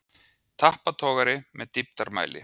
Tappatogari með dýptarmæli.